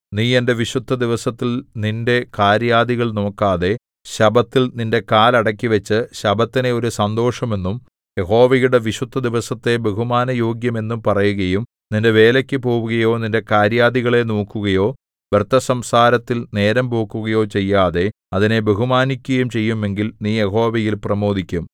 നീ എന്റെ വിശുദ്ധദിവസത്തിൽ നിന്റെ കാര്യാദികൾ നോക്കാതെ ശബ്ബത്തിൽ നിന്റെ കാൽ അടക്കിവച്ചു ശബ്ബത്തിനെ ഒരു സന്തോഷം എന്നും യഹോവയുടെ വിശുദ്ധദിവസത്തെ ബഹുമാനയോഗ്യം എന്നും പറയുകയും നിന്റെ വേലയ്ക്കു പോവുകയോ നിന്റെ കാര്യാദികളെ നോക്കുകയോ വ്യർത്ഥസംസാരത്തിൽ നേരം പോക്കുകയോ ചെയ്യാതെ അതിനെ ബഹുമാനിക്കുകയും ചെയ്യുമെങ്കിൽ നീ യഹോവയിൽ പ്രമോദിക്കും